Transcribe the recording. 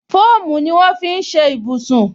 Fóòmù ni wọn fi ń ṣe ibùsùn